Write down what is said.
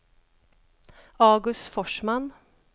August Forsman